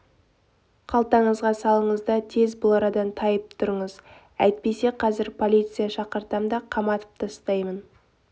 қалтаңызға салыңыз да тез бұл арадан тайып тұрыңыз әйтпесе қазір полиция шақыртам да қаматып тастаймын